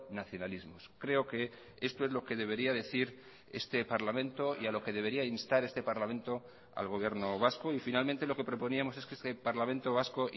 nacionalismos creo que esto es lo que debería decir este parlamento y a lo que debería instar este parlamento al gobierno vasco y finalmente lo que proponíamos es que este parlamento vasco